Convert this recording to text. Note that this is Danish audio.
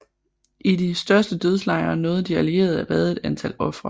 I de største dødslejre nåede de allierede at redde et antal ofre